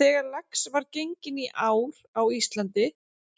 Þegar lax var genginn í ár á Íslandi